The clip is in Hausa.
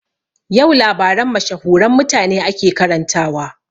Yau labaran mashahuran mutane ake karantawa